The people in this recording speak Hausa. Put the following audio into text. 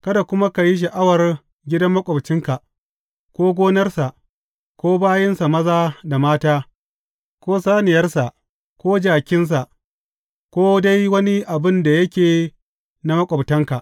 Kada kuma ka yi sha’awar gidan maƙwabcinka, ko gonarsa, ko bayinsa maza da mata, ko saniyarka, ko jakinsa, ko dai wani abin da yake na maƙwabtanka.